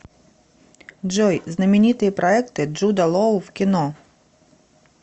джой знаменитые проекты джуда лоу в кино